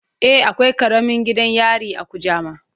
E, akwai karamin gidan yari a Kujama.